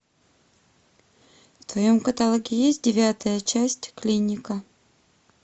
в твоем каталоге есть девятая часть клиника